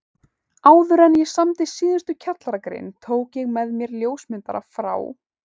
Áðuren ég samdi síðustu kjallaragrein tók ég með mér ljósmyndara frá